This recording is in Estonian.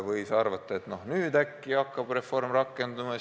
Võis arvata, et nüüd äkki hakkab reform rakenduma.